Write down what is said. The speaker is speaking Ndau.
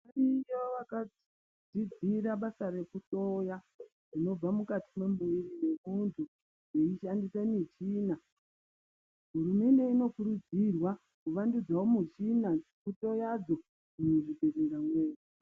Variyo vakadzidzira basa rekuhloya zvinobva mukati memuntu vashandisa michina hurumende inokurudzirwa kuwandudzirwa michina dzekuhloya dzo muzvibhehleya zvedu